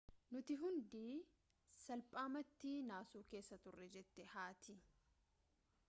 nuti hundi salphaamatti naasuu keessa turre jette haati